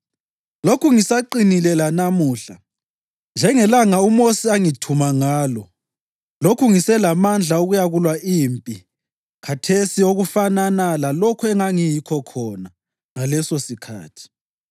Lokhu ngisaqinile lanamuhla njengelanga uMosi angithuma ngalo; lokhu ngiselamandla okuyakulwa impi khathesi okufanana lalokho engangiyikho khona ngalesosikhathi.